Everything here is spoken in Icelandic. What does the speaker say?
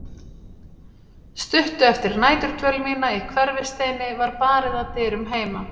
Stuttu eftir næturdvöl mína í Hverfisteini var barið að dyrum heima.